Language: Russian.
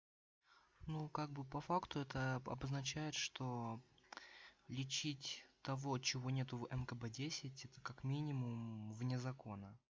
ну как бы по факту это обозначает что лечить того чего нет в мкб десять это как минимум вне закона